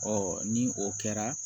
Ɔ ni o kɛra